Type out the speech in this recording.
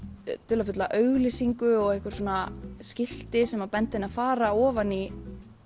dularfulla auglýsingu og einhver skilti sem benda henni á að fara ofan í